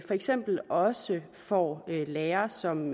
eksempel også får lærere som